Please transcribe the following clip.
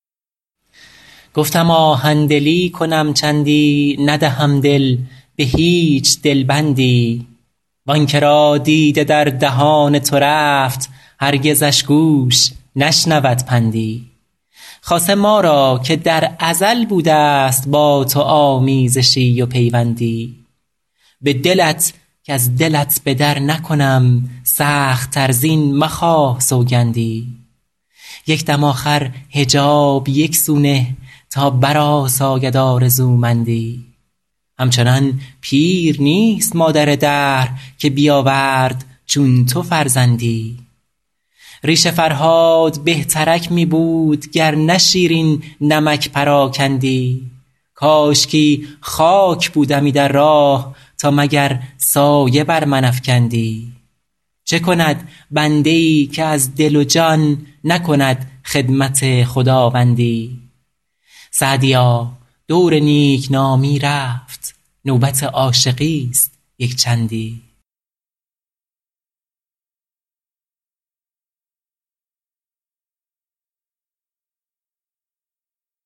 گفتم آهن دلی کنم چندی ندهم دل به هیچ دل بندی وآن که را دیده در دهان تو رفت هرگزش گوش نشنود پندی خاصه ما را که در ازل بوده است با تو آمیزشی و پیوندی به دلت کز دلت به در نکنم سخت تر زین مخواه سوگندی یک دم آخر حجاب یک سو نه تا برآساید آرزومندی همچنان پیر نیست مادر دهر که بیاورد چون تو فرزندی ریش فرهاد بهترک می بود گر نه شیرین نمک پراکندی کاشکی خاک بودمی در راه تا مگر سایه بر من افکندی چه کند بنده ای که از دل و جان نکند خدمت خداوندی سعدیا دور نیک نامی رفت نوبت عاشقی است یک چندی